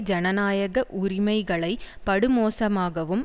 ஜனநாயக உரிமைகளை படுமோசமாகவும்